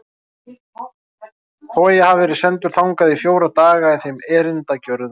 Þó að ég hafi verið sendur þangað í fjóra daga í þeim erindagjörðum.